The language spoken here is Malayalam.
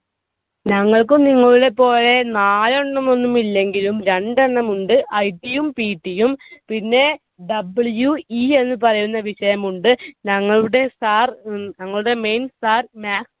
ഞങ്ങൾക്കും നിങ്ങളുടെപോലെ നാലെണ്ണമൊന്നും ഇല്ലെങ്കിലും രണ്ടെണ്ണം ഉണ്ട്. IT യും PT യും. പിന്നെ WE എന്ന് പറയുന്ന വിഷയമുണ്ട്. ഞങ്ങളുടെ Sir ഞങ്ങളുടെ main sirmaths